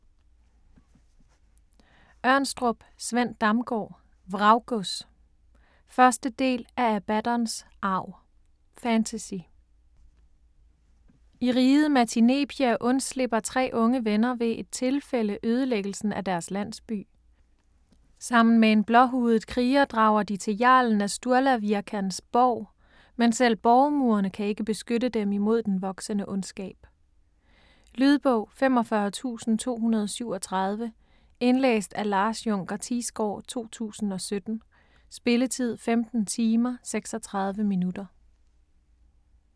Ørnstrup, Sven Damgaard: Vraggods 1. del af Abaddons arv. Fantasy. I riget Matinepia undslipper tre unge venner ved et tilfælde ødelæggelsen af deres landsby. Sammen med en blåhudet kriger drager de til jarlen af Sturlavirkans borg. Men selv borgmurene kan ikke beskytte dem imod den voksende ondskab. Lydbog 45237 Indlæst af Lars Junker Thiesgaard, 2017. Spilletid: 15 timer, 36 minutter.